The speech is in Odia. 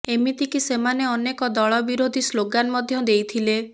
ଏମିତି କି ସେମାନେ ଅନେକ ଦଳବିରୋଧୀ ସ୍ଲୋଗାନ୍ ମଧ୍ୟ ଦେଇଥିଲେ